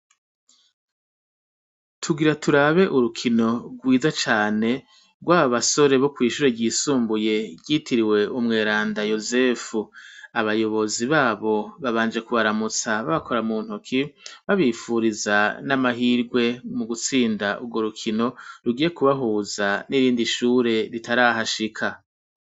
Tugira turabe urukino rwiza cane rwababasore bokwishure ryisumbuye ryitiriwe umweranda yozefu abayobozi babo babanje kubaramutsa babakora muntoki babipfuriza n' amahigwe mugutsinda urwo rukino rugiye kubahuza n'irindi shure ritarahashika.